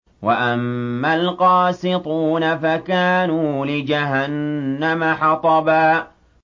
وَأَمَّا الْقَاسِطُونَ فَكَانُوا لِجَهَنَّمَ حَطَبًا